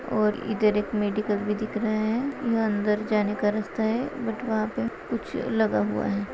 और इधर एक मेडिकल भी दिख रहा है यह अंदर जाने का रास्ता है बट वहा पे कुछ लगा हुआ है।